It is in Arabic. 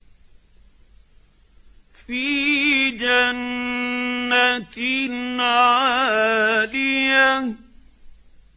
فِي جَنَّةٍ عَالِيَةٍ